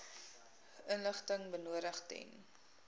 inligting benodig ten